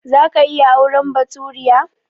Za ka iya auren baturiya?